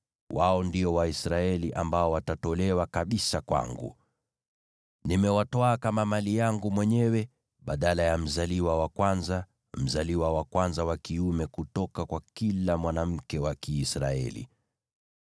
Wao ndio Waisraeli ambao watatolewa kabisa kwangu. Nimewatwaa kama mali yangu mwenyewe badala ya mzaliwa wa kwanza, mzaliwa wa kwanza wa kiume kutoka kwa kila mwanamke wa Kiisraeli.